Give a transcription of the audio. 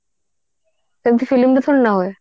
ଏମିତି film ରେ ସବୁ ନ ହୁଏ